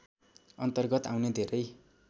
अन्तर्गत आउने धेरै